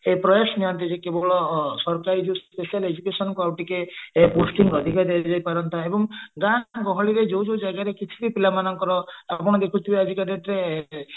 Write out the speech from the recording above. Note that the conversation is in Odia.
ପ୍ରୟାସ ନିଅନ୍ତି ଯେ ସରକାର କେବେଳ special education କୁ ଆଉ ଟିକେ boosting ଅଧିକ ଦିଆ ଯାଇ ପାରନ୍ତା ଏବଂ ଗାଁ ଗହଳିରେ ଯୋଉ ଜାଗାରେ କିଛି ବି ପିଲାମାନଙ୍କର କମ ଦେଖୁଥିବ ଆଜିକା date ରେ